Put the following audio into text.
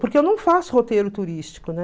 Porque eu não faço roteiro turístico, né?